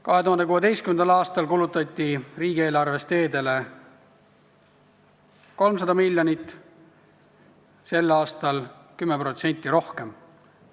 2016. aastal kulutati riigieelarvest teedele 300 miljonit, sel aastal 10% rohkem.